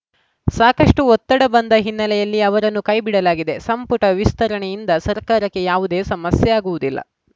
ಸಾಕಷ್ಟುಒತ್ತಡ ಬಂದ ಹಿನ್ನೆಲೆಯಲ್ಲಿ ಅವರನ್ನು ಕೈಬಿಡಲಾಗಿದೆ ಸಂಪುಟ ವಿಸ್ತರಣೆಯಿಂದ ಸರ್ಕಾರಕ್ಕೆ ಯಾವುದೇ ಸಮಸ್ಯೆ ಆಗುವುದಿಲ್ಲ